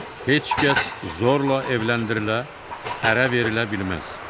Heç kəs zorla evləndirilə, ərə verilə bilməz.